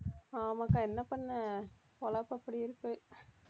ஆமாக்கா என்ன பண்ண பொழப்பு அப்படி இருக்கு